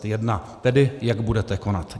Tedy jak budete konat.